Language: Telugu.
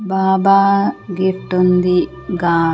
బాబా గిఫ్ట్ ఉంది గా--